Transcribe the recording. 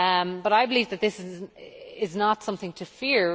But I believe that this is not something to fear